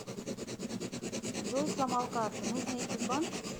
джой сломал карту нужно идти в банк